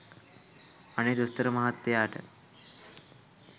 අනේ දොස්තර මහත්තයාට